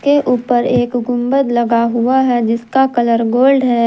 के ऊपर एक गुंबद लगा हुआ है जिसका कलर गोल्ड है।